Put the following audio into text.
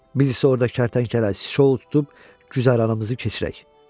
Biz isə orda kərtənkələ, sisçovul tutub güzəranımızı keçirək.